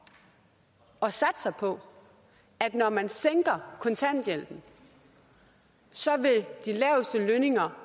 og satser på at når man sænker kontanthjælpen så vil de laveste lønninger